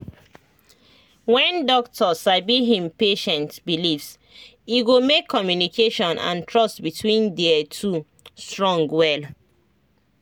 when doctor sabi him patient beliefs e go make communication and trust between their two strong well